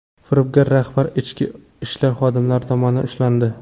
Firibgar rahbar ichki ishlar xodimlari tomonidan ushlandi.